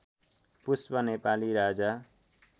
पुष्प Nepali राजा